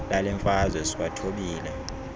lale mfazwe siwathobile